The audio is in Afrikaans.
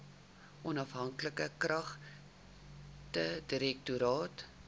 onafhanklike klagtedirektoraat